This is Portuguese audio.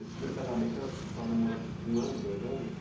Esse primeiro casamento, ãh, a senhora namorou um ano, dois anos?